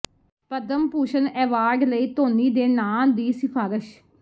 Padma Bhushan award ਲਈ ਧੋਨੀ ਦੇ ਨਾਂਅ ਦੀ ਸਿਫਾਰਸ਼